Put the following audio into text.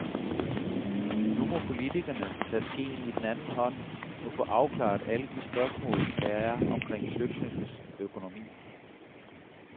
Nu må politikerne tage skeen i den anden hånd og få afklaret alle de spørgsmål, der er omkring flygtninges økonomi.